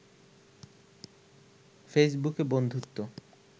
ফেসবুকে বন্ধুত্ব